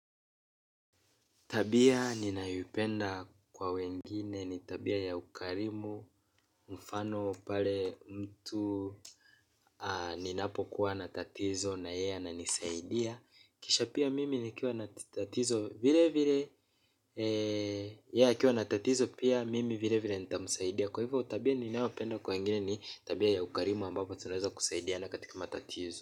Tabia ninayoipenda kwa wengine ni tabia ya ukarimu mfano pale mtu ni napokuwa na tatizo na yeye ananisaidia. Kisha pia mimi nikiwa na tatizo vile vile yeye akiwa na tatizo pia mimi vile vile nitamsaidia. Kwa hivyo tabia ninayopenda kwa wengine ni tabia ya ukarimu ambapo tunaweza kusaidiana katika matatizo.